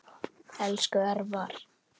Elsku Örvar.